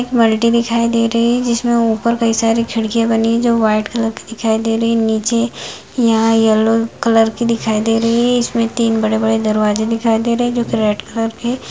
एक मल्टी दिखाई दे रही है जिसमे ऊपर कई सारी खिड़कियाँ बनी है जो व्हाइट कलर की दिखाई दे रही है नीचे यहाँ येलो कलर की दिखाई दे रही है इसमे तीन बड़े-बड़े दरवाजे दिखाई दे रहे है जो कि रेड कलर के है।